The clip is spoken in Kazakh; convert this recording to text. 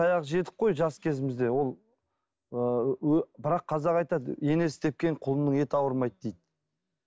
таяқ жедік қой жас кезімізде ол ыыы бірақ қазақ айтады енесі тепкен құлынның еті ауырмайды дейді